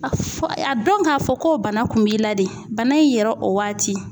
A fɔ a dɔn k'a fɔ ko bana kun b'i la de bana in yɛrɛ o waati